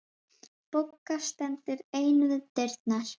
Bogga stendur ein við dyrnar.